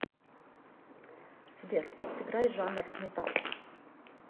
сбер сыграй жанр металл